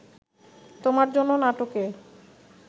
তোমার জন্য নাটকে